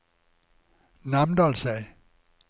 Namdalseid